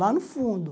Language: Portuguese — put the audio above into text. Lá no fundo.